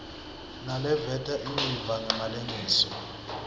naleveta imiva ngemalengiso